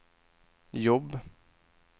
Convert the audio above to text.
jobb